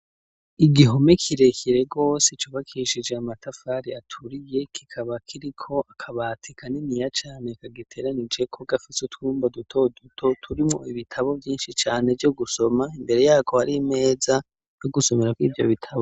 Igihome kirekire gose cubakishijwe amatafari aturiye, kikaba kiriko akabati kaniniya cane kagiteranijeko, gafise utwumba duto duto turimwo ibitabo vyinshi cane vyo gusoma, imbere yako, har'imeza yo gusomerako ivyo bitabo.